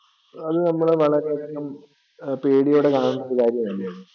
അത് നമ്മൾ വളരെ അധികം പേടിയോടെ കാണുന്ന കാര്യമല്ലേ?